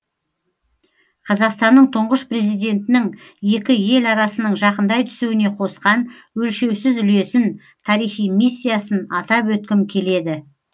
қазақстанның тұңғыш президентінің екі ел арасының жақындай түсуіне қосқан өлшеусіз үлесін тарихи миссиясын атап өткім келеді